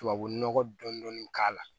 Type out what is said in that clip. Tubabu nɔgɔ dɔnni k'a la